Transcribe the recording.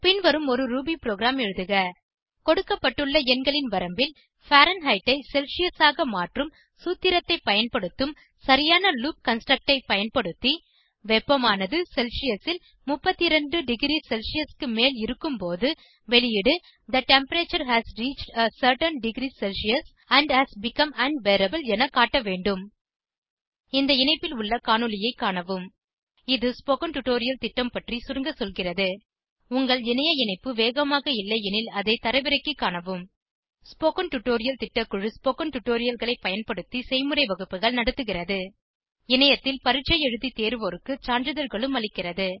பின்வருமாறு ஒரு Ruby program எழுதுக கொடுக்கப்பட்டுள்ள எண்களின் வரம்பில் பாரன்ஹெய்ட் ஐ செல்சியஸ் ஆக மாற்றும் சூத்திரத்தை பயன்படுத்தும் சரியான லூப் கன்ஸ்ட்ரக்ட் ஐ பயன்படுத்தி வெப்பமானது செல்சியஸ் ல் 32 டிக்ரி செல்சியஸ் க்கு மேல் இருக்கும்போது வெளியீடு the temperature has reached a certain degree Celsius and has become unbearable என காட்டவேண்டும் இந்த இணைப்பில் உள்ள காணொளியைக் காணவும் இது ஸ்போகன் டுடோரியல் திட்டம் பற்றி சுருங்க சொல்கிறது உங்கள் இணைய இணைப்பு வேகமாக இல்லையெனில் அதை தரவிறக்கிக் காணவும் ஸ்போகன் டுடோரியல் திட்டக்குழு ஸ்போகன் டுடோரியல்களைப் பயன்படுத்தி செய்முறை வகுப்புகள் நடத்துகிறது இணையத்தில் பரீட்சை எழுதி தேர்வோருக்கு சான்றிதழ்களும் அளிக்கிறது